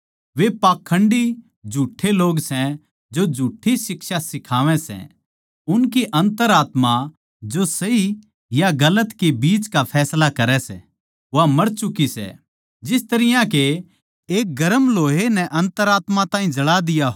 वे पाखण्डी झुठ्ठे लोग सै जो झुठ्ठी शिक्षा सिखावै सै उनकी अन्तरात्मा जो सही या गलत के बिच का फैसला करै सै वा मर चुकी सै जिस तरियां के एक गरम लोहे नै अन्तरात्मा ताहीं जळा दिया हो